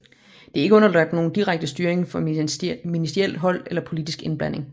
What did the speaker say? Det er ikke underlagt nogen direkte styring fra ministerielt hold eller politsk indblanding